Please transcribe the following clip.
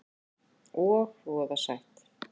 Og voða sætt.